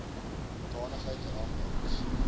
hoedanigheid rang ex